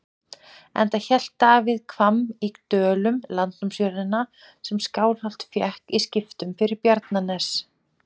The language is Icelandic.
Enda hélt Daði Hvamm í Dölum, landnámsjörðina sem Skálholt fékk í skiptum fyrir Bjarnanes.